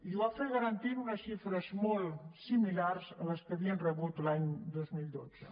i ho va fer garantint unes xifres molt similars a les que havien rebut l’any dos mil dotze